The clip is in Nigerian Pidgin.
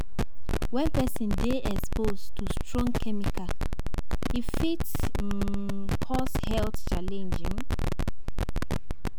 When person dey exposed to strong chemical, e fit um cause health challenge um